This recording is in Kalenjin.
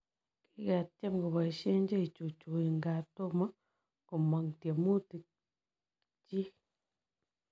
Kiketyeem kopoisie cheichuchui ngaa tomoo komaang tiemutik chiik.